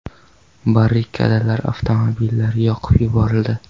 Barrikadalar, avtomobillar yoqib yuborildi.